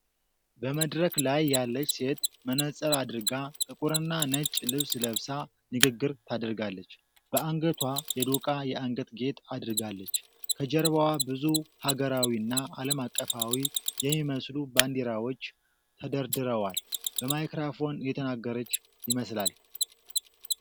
በመድረክ ላይ ያለች ሴት መነፅር አድርጋ፣ ጥቁርና ነጭ ልብስ ለብሳ ንግግር ታደርጋለች። በአንገቷ የዶቃ የአንገት ጌጥ አድርጋለች። ከጀርባዋ ብዙ ሀገራዊና ዓለም አቀፋዊ የሚመስሉ ባንዲራዎች ተደርድረዋል። በማይክሮፎን እየተናገረች ይመስላል።